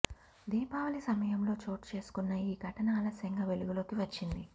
దీపావళి సమయంలో చోటు చేసుకున్న ఈ ఘటన ఆలస్యంగా వెలుగులోకి వచ్చింది